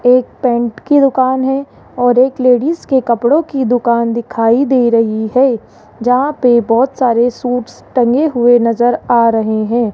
एक पेंट की दुकान है और एक लेडिस के कपड़ों की दुकान दिखाई दे रही है जहां पे बहोत सारे सूट्स टंगे हुए नजर आ रहे हैं।